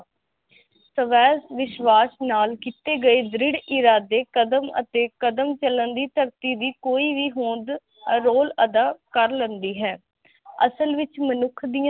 ਸਵੈ ਵਿਸ਼ਵਾਸ ਨਾਲ ਕੀਤੇ ਗਏ ਦ੍ਰਿੜ ਕਦਮ ਅਤੇ ਕਦਮ ਚਲਨ ਦੀ ਧਰਤੀ ਦੀ ਕੋਈ ਵ ਹੋਂਦ ਰੋਲ ਅਦਾ ਕਰ ਲੇਂਦੀ ਹੈ ਅਸਲ ਵਿਚ ਮਨੁਖ ਦੀਆ